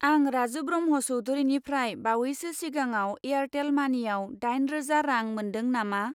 आं राजु ब्रह्म चौधुरिनिफ्राय बावैसो सिगाङाव एयारटेल मानिआव दाइन रोजा रां मोनदों नामा?